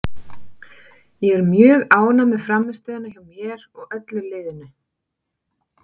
Ég er mjög ánægð með frammistöðuna hjá mér og öllu liðinu.